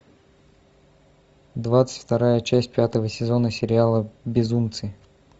двадцать вторая часть пятого сезона сериала безумцы